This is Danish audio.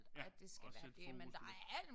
Ja at sætte fokus på